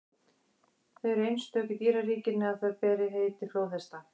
þau eru það einstök í dýraríkinu að þau bera heiti flóðhesta